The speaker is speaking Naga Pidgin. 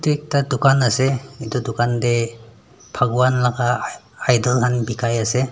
ekta tugan ase etu tugan tey paghwan laka i idel khan bekai ase.